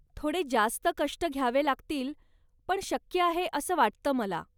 थोडे जास्त कष्ट घ्यावे लागतील, पण शक्य आहे असं वाटतं मला.